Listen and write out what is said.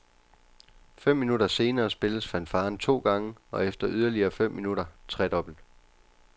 Fem minutter senere spilles fanfaren to gange og efter yderligere fem minutter tredobbelt.